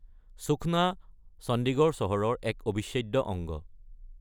সুখনা চণ্ডীগড় চহৰৰ এক অবিচ্ছেদ্য অংগ।